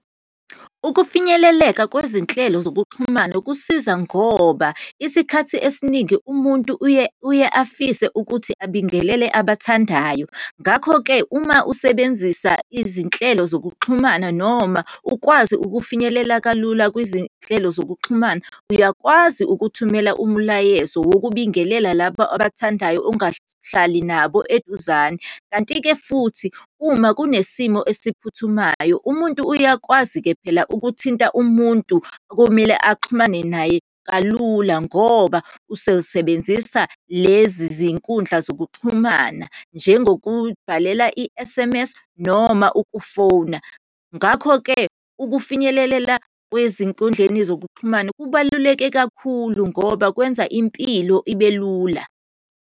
Ukufinyeleleka kwezinhlelo zokuxhumana kusiza, ngoba isikhathi esiningi umuntu uye, uye afise ukuthi abingelele abathandayo. Ngakho-ke, uma usebenzisa izinhlelo zokuxhumana, noma ukwazi ukufinyelela kalula kwizinhlelo zokuxhumana, uyakwazi ukuthumela umlayezo wokubingelela labo obathandayo, ungahlali nabo eduzane. Kanti-ke futhi, uma kunesimo esiphuthumayo, umuntu uyakwazi-ke phela ukuthinta umuntu okumele axhumane naye kalula, ngoba usesebenzisa lezi zinkundla zokuxhumana, njengobhalela i-S_M_S, noma ukufona. Ngakho-ke ukufinyelelela kwezinkundleni zokuxhumana kubaluleke kakhulu ngoba kwenza impilo ibe lula.